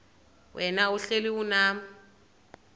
wena uhlel unam